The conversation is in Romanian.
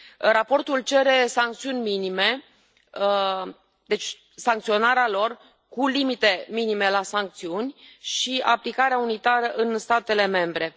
Raportul cere sancțiuni minime, deci sancționarea lor cu limite minime la sancțiuni, și aplicarea unitară în statele membre.